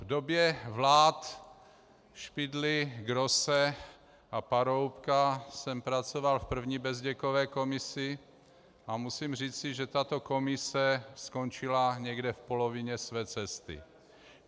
V době vlád Špidly, Grosse a Paroubka jsem pracoval v první Bezděkově komisi a musím říci, že tato komise skončila někde v polovině své cesty.